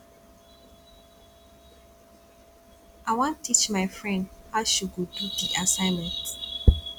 i wan teach my friend how she go do di assignment